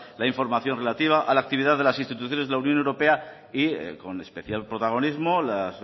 la información relativa a la actividad de las instituciones de la unión europea con especial protagonismo las